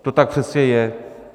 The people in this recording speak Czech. To tak přece je.